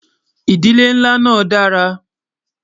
ìdílé nlá nà dára